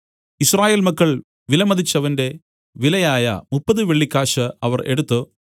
യിസ്രായേൽ മക്കൾ വിലമതിച്ചവന്റെ വിലയായ മുപ്പത് വെള്ളിക്കാശ് അവർ എടുത്തു